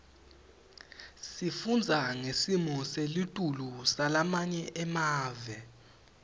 sifundza ngesimo selitulu salamanye emave